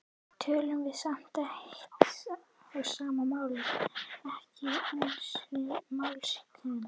tölum við samt eitt og sama málið, ekki einusinni mállýskumunur.